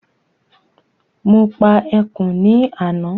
Mo pa ẹkùn ní àná